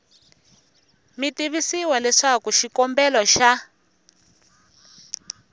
mi tivisiwa leswaku xikombelo xa